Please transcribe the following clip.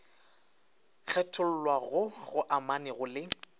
kgethollwa goo go amanego le